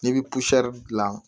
N'i bɛ dilan